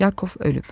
Yakov ölüb.